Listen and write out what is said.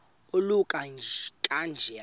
oluka ka njl